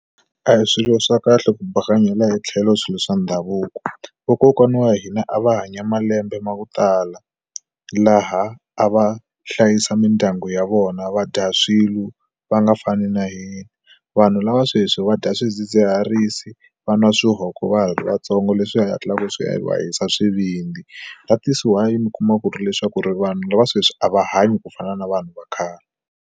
A hi swilo swa kahle ku bakanyela hi tlhelo swilo swa ndhavuko vakokwana wa hina a va hanya malembe ma ku tala laha a va hlayisa mindyangu ya vona va dya swilo va nga fani na hina vanhu lava sweswi va dya swidzidziharisi va nwa swihoko va ha ri vatsongo leswi hetlaka swi va hisa swivindzi that's why mi kuma ku ri leswaku ri vanhu lava sweswi a va hanyi ku fana na vanhu va khale.